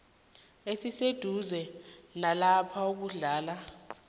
esiseduze nalapho kuhlala